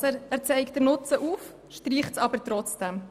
Der Regierungsrat zeigt also den Nutzen auf, streicht es aber trotzdem.